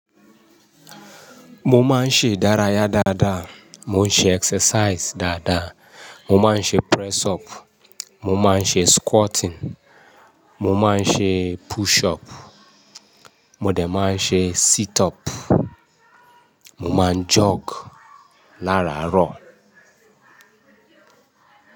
Mo máa ń ṣe ìdárayá dáadáa, mo ń ṣe exercise dáadáa, mo máa ń ṣe press up, mo máa ń ṣe squatting, mo máa ń ṣe push up, mo de máa ń ṣe sit up, mo máa ń jog láàrarọ̀